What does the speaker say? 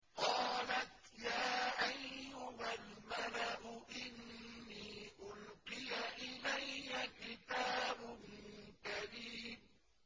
قَالَتْ يَا أَيُّهَا الْمَلَأُ إِنِّي أُلْقِيَ إِلَيَّ كِتَابٌ كَرِيمٌ